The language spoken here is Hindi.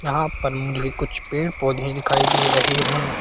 यहां पर मुझे कुछ पेड़-पौधे दिखाई दे रहे हैं।